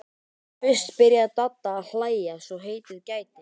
Þá fyrst byrjaði Dadda að hlæja svo heitið gæti.